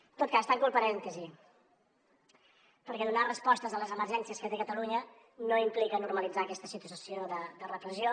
en tot cas tanco el parèntesi perquè donar respostes a les emergències que té catalunya no implica normalitzar aquesta situació de repressió